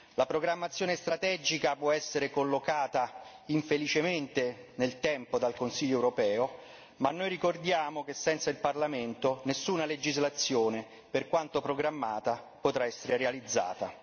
La programmazione strategica può essere collocata infelicemente nel tempo dal Consiglio europeo, ma noi ricordiamo che senza il Parlamento nessuna legislazione, per quanto programmata, potrà essere realizzata.